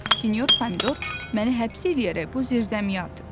Sinyor pomidor məni həbs eləyərək bu zirzəmiyə atıb.